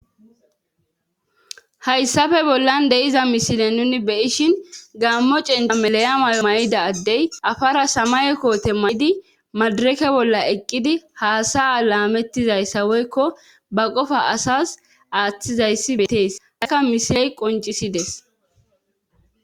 hayssafe bollan de7iza mishile nuni beyishin gaammo cinda melayamayo may7ida addey afara samay koote mayidi madireke bolla eqqidi haasaa laamettizayssa woykko ba qofa asas aaththizayssi beetees akka mishiley qoncisides